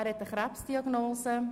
Er hat eine Krebsdiagnose.